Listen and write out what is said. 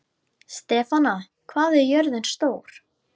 Stefana, hvað er jörðin stór?